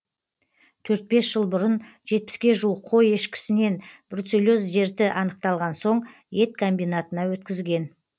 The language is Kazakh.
төрт бес жыл бұрын жетпіске жуық қой ешкісінен бруцеллез дерті анықталған соң ет комбинатына өткізген